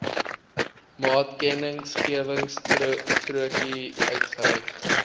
maatkennisgewingstrokie uitgereik